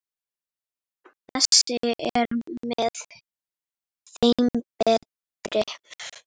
Þessi er með þeim betri.